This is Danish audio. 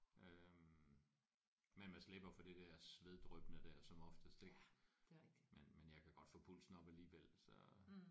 Øh men man slipper for det der sveddryppende der som oftest ik men men jeg kan godt få pulsen op alligevel så